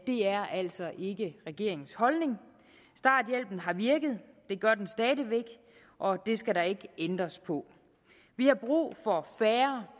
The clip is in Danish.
er altså ikke regeringens holdning starthjælpen har virket det gør den stadig væk og det skal der ikke ændres på vi har brug